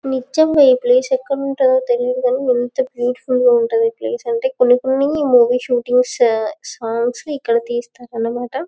నిజంగా ఈ ప్లేస్ ఎక్కడుంటాదో తెలియదు గాని ఎంత బ్యూటిఫుల్ గా ఉంటాదో ఈ ప్లేస్ అంటే కొన్ని కొన్ని మూవీ షూటింగ్స్ సాంగ్స్ ఇక్కడ తిస్తారనిమాట.